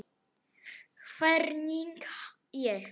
Hvernig ég fann fyrir þeim?